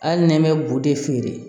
Hali n'i bɛ bu de feere